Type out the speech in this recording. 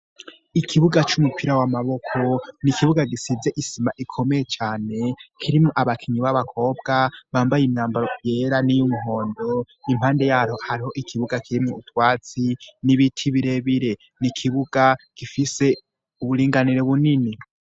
Ikibuga c'umupira wamaboko ni ikibuga gisize isima ikomeye cane kirimwo abakinyi b'abakobwa bambaye imyambaro ryera niyo umwondo impande yaho hariho ikibuga kirimwu utwatsi n'ibiti birebire ni ikibuga gifise uburinganiro bunini.